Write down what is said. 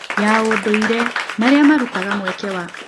ya ũndũire marĩa marutaga mweke wa